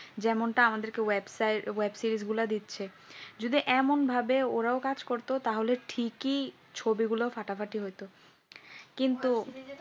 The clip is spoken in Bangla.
যেমনটা আমাদের কে web series গুলো দিচ্ছে যদি এমন ভাবে ওরাও কাজ করতো তাহলে ঠিকই ছবিগুলো ফাটাফাটি হতো। কিন্তু